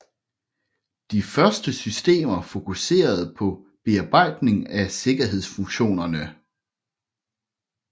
De første systemer fokuserede på bearbejdning af sikkerhedsfunktionerne